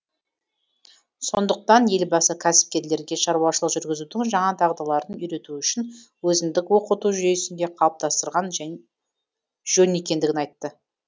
сондықтан елбасы кәсіпкерлерге шаруашылық жүргізудің жаңа дағдыларын үйрету үшін өзіндік оқыту жүйесін де қалыптастырған жөн екендігін айтты